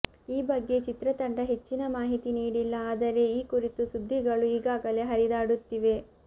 ಈ ಬಗ್ಗೆ ಚಿತ್ರತಂಡ ಹೆಚ್ಚಿನ ಮಾಹಿತಿ ನೀಡಿಲ್ಲ ಆದರೆ ಈ ಕುರಿತು ಸುದ್ದಿಗಳು ಈಗಾಗಲೇ ಹರಿದಾಡುತ್ತಿವೆ